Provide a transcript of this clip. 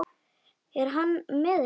Er hann með ykkur?